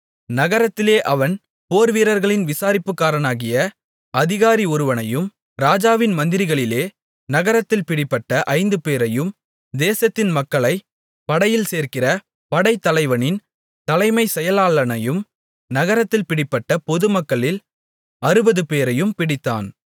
நகரத்திலே அவன் போர்வீரர்களின் விசாரிப்புக்காரனாகிய அதிகாரி ஒருவனையும் ராஜாவின் மந்திரிகளிலே நகரத்தில் பிடிபட்ட ஐந்துபேரையும் தேசத்தின் மக்களைப் படையில் சேர்க்கிற படைத்தலைவனின் தலைமைச் செயலாளனையும் நகரத்தில் பிடிப்பட்ட பொதுமக்களில் அறுபதுபேரையும் பிடித்தான்